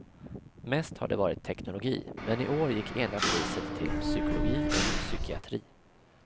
Mest har det varit teknologi, men i år gick ena priset till psykologi och psykiatri.